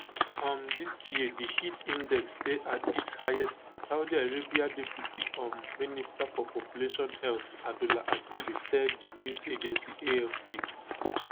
um dis year di heat index dey at its highest saudi arabia deputy um minister for population health abdullah asiri tell di news agency afp